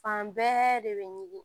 Fan bɛɛ de bɛ ɲugu